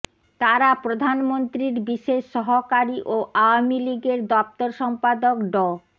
তারা প্রধানমন্ত্রীর বিশেষ সহকারী ও আওয়ামী লীগের দফতর সম্পাদক ড